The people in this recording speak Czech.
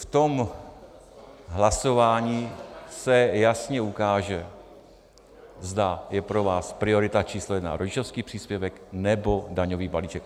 V tom hlasování se jasně ukáže, zda je pro vás priorita číslo jedna rodičovský příspěvek, nebo daňový balíček.